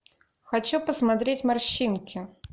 хочу посмотреть морщинки